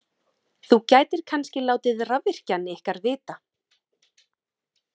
Þú gætir kannski látið rafvirkjann ykkar vita.